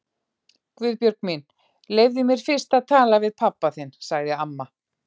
Guðbjörg mín, leyfðu mér fyrst að tala við pabba þinn sagði amma.